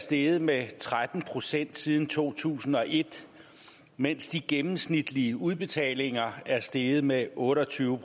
steget med tretten procent siden to tusind og et mens de gennemsnitlige udbetalinger er steget med otte og tyve